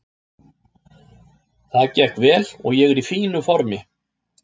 Það gekk vel og ég er í fínu formi.